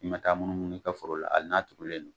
I ma taa mun munu ika foro la ali n'a turulen don